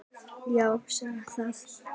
Já, segðu það!